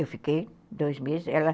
Eu fiquei dois meses. Ela